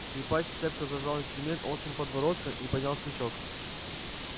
скрипач цепко зажал инструмент острым подбородком и поднял смычок